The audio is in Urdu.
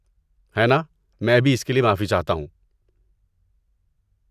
ہے ناں! میں بھی اس کے لیے معافی چاہتا ہوں۔